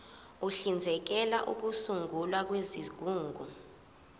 uhlinzekela ukusungulwa kwezigungu